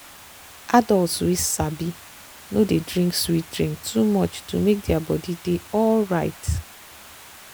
adults wey sabi no dey drink sweet drink too much to make their body dey alright.